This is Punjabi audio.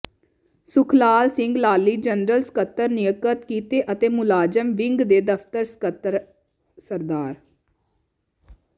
ਸੁਖਲਾਲ ਸਿੰਘ ਲਾਲੀ ਜਨਰਲ ਸਕੱਤਰ ਨਿਯਕਤ ਕੀਤੇ ਅਤੇ ਮੁਲਾਜ਼ਮ ਵਿੰਗ ਦੇ ਦਫਤਰ ਸਕੱਤਰ ਸ